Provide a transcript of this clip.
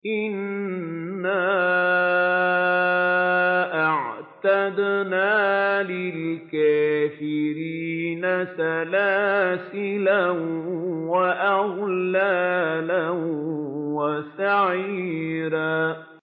إِنَّا أَعْتَدْنَا لِلْكَافِرِينَ سَلَاسِلَ وَأَغْلَالًا وَسَعِيرًا